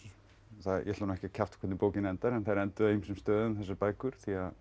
það ég ætla nú ekki að kjafta hvernig bókin endar en þær enduðu á ýmsum stöðum þessar bækur